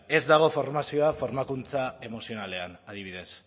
ez dago formazioa formakuntza emozionalean adibidez